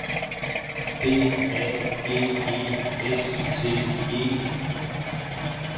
B A G E S T E